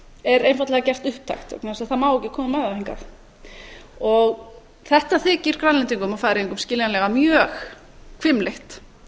er einfaldlega gert upptækt vegna þess að það má ekki koma með það hingað þetta þykir grænlendingum og færeyingum skiljanlega mjög hvimleitt